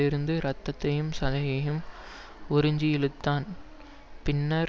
இருந்து இரத்தத்தையும் சதையையும் உறிஞ்சி இழுத்ததன் பின்னர்